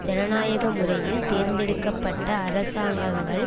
ஜனநாயக முறையில் தேர்ந்தெடுக்க பட்ட அரசாங்கங்கள்